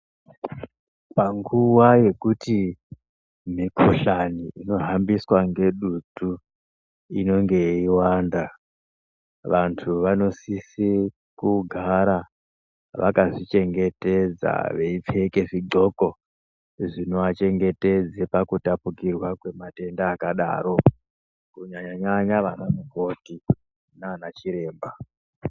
Panguwa yekuti mikhuhlani inohambiswa ngedutu inenge yeiwanda .Vantu vanosise kugara vakazvichengetedza veipfeke zvidhloko zvinoachengetedza pakutapukirwa kwemadenda akadaro kunyanya-nyanya ana mukoti nana chiremba.